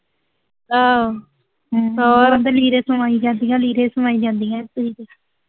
ਆਹੋ, ਹੋਰ